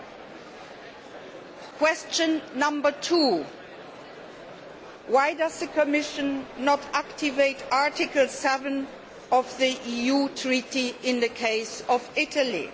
Second question why does the Commission not activate Article 7 of the EU Treaty in the case of Italy?